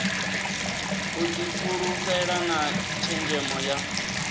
u difhulufhela na tshenzhemo ya